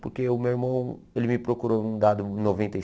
Porque o meu irmão, ele me procurou um dado em noventa e